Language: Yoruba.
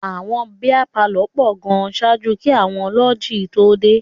Àwọn bíá palọ̀ pọ̀ gan ṣáájú kí àwọn láúǹjì tó dé.